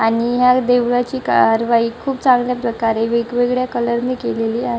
आणि या देवाची खूप चांगल्या प्रकारे वेगवेगळ्या कलर नि केलेली आहे.